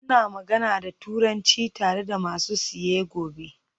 Muna magana da Turanci tare da masu siye gobe?